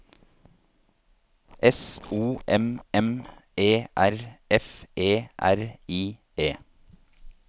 S O M M E R F E R I E